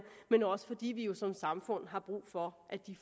men også fordi vi jo som samfund har brug for at de